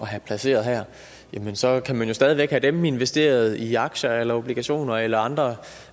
have placeret her så kan man jo stadig væk have dem investeret i aktier eller obligationer eller andre